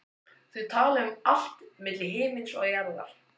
Þau tala um allt milli himins og jarðar.